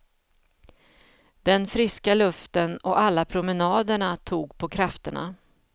Den friska luften och alla promenaderna tog på krafterna.